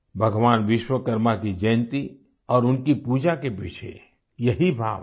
भगवान विश्वकर्मा की जयंती और उनकी पूजा के पीछे यही भाव है